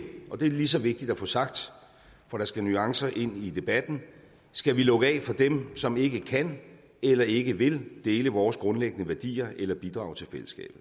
og det er lige så vigtigt at få sagt for der skal nuancer ind i debatten skal vi lukke af for dem som ikke kan eller ikke vil dele vores grundlæggende værdier eller bidrager til fællesskabet